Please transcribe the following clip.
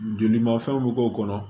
Joli ma fɛnw bɛ k'o kɔnɔ